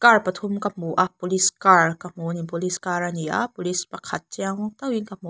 car pathum ka hmu a police car ka hmu ani police car ani a police pakhat chiang deuhin ka hmu a.